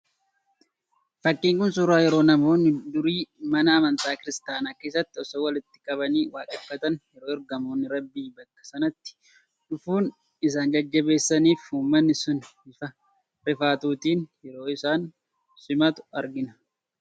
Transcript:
Fakkiin kun suuraa yeroo namoonni durii mana amantaa kiristiyaanaa keessatti osoo walitti qabanii waaqeffatan , yeroo ergamoonni rabbii bakka sanatti dhufuun isaan jajjabeessanii fi uumatni sun bifa rifaatuutiin yeroo isaan simatu argina.